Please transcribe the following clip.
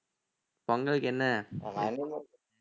பொங்கலுக்கு என்ன